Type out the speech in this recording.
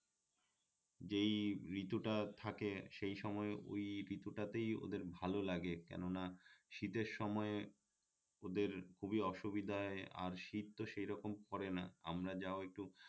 যেই ঋতুটা থাকে সেই সময়ে ওই ঋতুটাতেই ওদের ভাল লাগে কেননা শীতের সময় ওদের খুবই অসুবিধায় আর শীত তো সেই রকম পরে না আমরা যাও একটু